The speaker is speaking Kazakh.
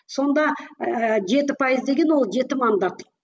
сонда ыыы жеті пайыз деген ол жеті мандат